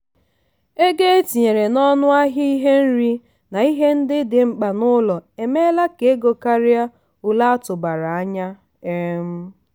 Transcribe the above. ego etinyere n'ọnụ ahịa ihe nri na ihe ndị dị mkpa n'ụlọ emela ka ego karịa ole atụbara anya. um